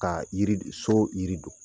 Kaa yiri d so yiri don.